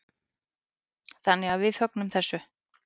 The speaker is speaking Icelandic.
Þannig að við fögnum þessu.